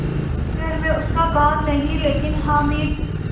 इस घर में उसका काम नहीं लेकिन हामिद